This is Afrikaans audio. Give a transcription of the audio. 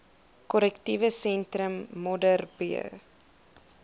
korrektiewe sentrum modderbee